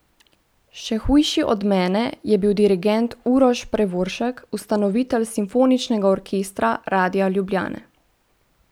Še hujši od mene je bil dirigent Uroš Prevoršek, ustanovitelj simfoničnega orkestra Radia Ljubljane.